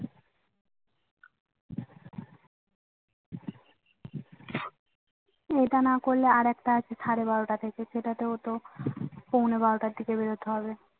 এটা না করলে আর একটা আছে সাড়ে বারোটা থেকে সেটা তেও তো পৌনে বারোটা থেকে বেরোতে হবে